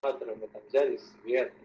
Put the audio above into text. со стороны там взялись врятли